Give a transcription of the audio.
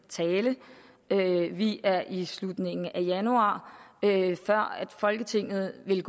tale vi er i slutningen af januar før folketinget vil